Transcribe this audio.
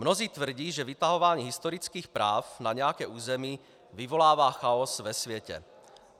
Mnozí tvrdí, že vytahování historických práv na nějaké území vyvolává chaos ve světě.